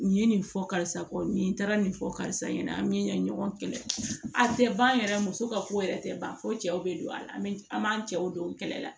Nin ye nin fɔ karisa kɔ nin taara nin fɔ karisa ɲɛna an bɛ ɲɔgɔn kɛlɛ a tɛ ban yɛrɛ muso ka ko yɛrɛ tɛ ban fo cɛw bɛ don a la an bɛ an b'an cɛw don kɛlɛ la